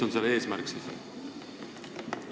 Mis see eesmärk siis on?